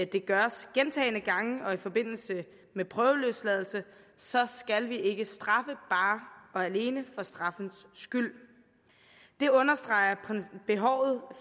det gøres gentagne gange og i forbindelse med prøveløsladelse så skal vi ikke straffe bare og alene fra straffens skyld det understreger behovet